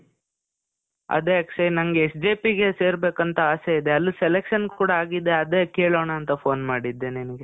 ಅದೇ ಅಕ್ಷಯ್ ನನ್ಗೆ SJP ಗೆ ಸೇರ್ಬೇಕಂತ ಆಸೆ ಇದೆ. ಅಲ್ಲಿ selection ಕೂಡಾ ಆಗಿದೆ. ಅದೇ ಕೇಳೋನಾಂತ ಫೋನ್ ಮಾಡಿದ್ದೆ ನಿನಿಗೆ.